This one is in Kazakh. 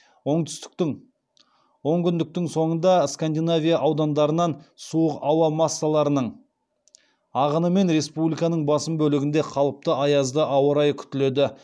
онкүндіктің соңында скандинавия аудандарынан суық ауа массаларының ағынымен республиканың басым бөлігінде қалыпты аязды ауа райы күтіледі